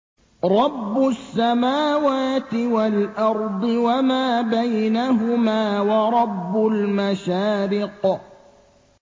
رَّبُّ السَّمَاوَاتِ وَالْأَرْضِ وَمَا بَيْنَهُمَا وَرَبُّ الْمَشَارِقِ